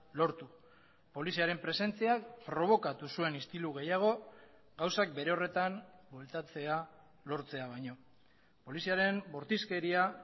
lortu poliziaren presentziak probokatu zuen istilu gehiago gauzak bere horretan bueltatzea lortzea baino poliziaren bortizkeria